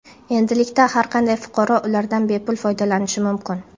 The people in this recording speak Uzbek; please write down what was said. Endilikda har qanday fuqaro ulardan bepul foydalanishi mumkin.